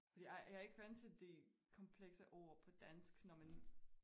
Jeg jeg ikke vant til de komplekse ord på dansk når man